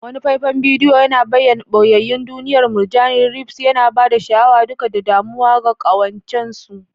Wani faifan bidiyo yana bayyana ɓoyayyun duniyar murjani reefs, yana ba da sha'awa duka da damuwa ga ƙawancen su.